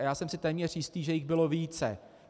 A já jsem si téměř jistý, že jich bylo více.